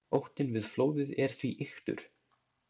Óttinn við flóðið er því ýktur.